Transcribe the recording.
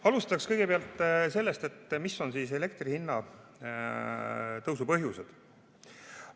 Alustaks sellest, mis on siis elektri hinna tõusu põhjused.